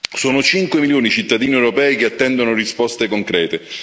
Sono cinque milioni i cittadini europei che attendono risposte concrete.